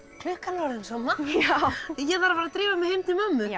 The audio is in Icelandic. klukkan er orðin svo margt ég þarf að drífa mig heim til mömmu já